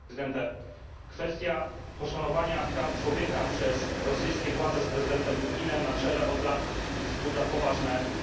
Kwestia poszanowania praw człowieka przez rosyjskie władze z prezydentem Putinem na czele od lat wzbudza poważne wątpliwości.